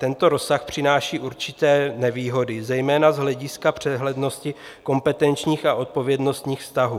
Tento rozsah přináší určité nevýhody, zejména z hlediska přehlednosti kompetenčních a odpovědnostních vztahů.